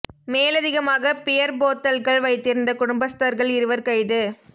மேலதிகமாக பியர் போத்தல்கள் வைத்திருந்த குடும்பஸ்தர்கள் இருவர் கைது